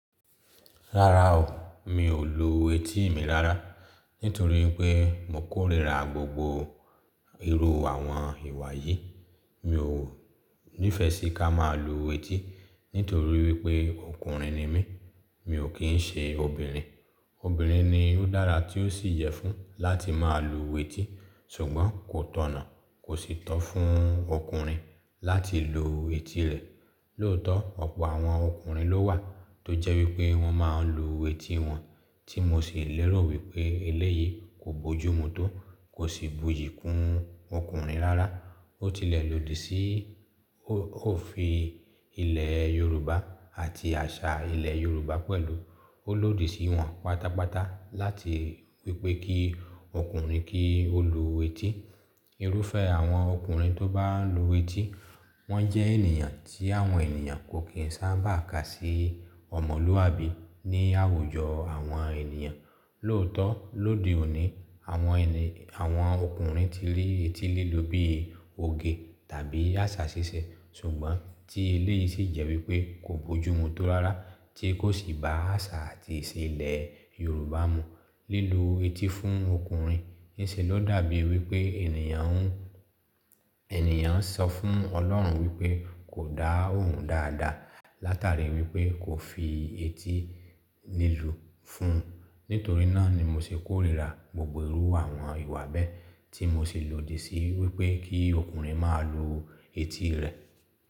Rárá o, mi ò lo etí mi rárá nítorí pé mo kórìíra gbogbo irú àwọn ìwà yìí. Mi ò nífẹsí ká máa lu etí nítorí wípé ọkùnrin ni mí, mi ò kí ń ṣe obìnrin. Obìnrin ni óò dára, tí ó sì yẹ fún láti máa lu etí sùgbọ́n kò tọ̀nà kó sì tọ́ fún ọkùnrin láti lu etí rẹ̀. Lóòótọ́ ọ̀pọ̀ àwọn ọkùnrin ló wà tó jẹ́ wípé wọ́n máa ń lu etí wọn, tí mo sì lérò wípé eléyìí kò bójú mú, tó kò sì buyì kún ọkùnrin rárá. Ó tilẹ̀ lòdì sí òfin ilẹ̀ Yorùbá àti àṣà ilẹ̀ Yorùbá pẹ̀lú. Ó lòdì sí wọn pátápátá láti wípé kí ọkùnrin kí ó lu etí. Irúfẹ́ àwọn ọkùnrin tó bá ń lu etí, wọ́n jẹ́ ènìyàn tí àwọn ènìyàn kò kín sábà kà sí ọmọlúwàbí ní àwùjọ àwọn ènìyàn. Lóòótọ́ lóde òní, àwọn ẹni, àwọn ọkùnrin, ti rí etí lílu bí i òge, tàbí àṣà ṣíṣe. Ṣùgbọ́n tí eléyìí sì jẹ́ wípé kò bójú mú tó rárá tí kò sì ba àṣà àti ìṣe ilẹ̀ Yorùbá mu. Lílu etí fún ọkùnrin ní ṣe ló dàbí wípé ènìyàn ń, ènìyàn ń sọ fún Ọlọ́run wípé kò dá òun dáadáa látàrí wípé kò fi etí lílu fún un. Nítorí náà ni mo ṣe kórìíra gbogbo irú àwọn ìwà bẹ́ẹ̀ tí mo sì lòdì sí wípé kí ọkùnrin máa lo etí rẹ̀.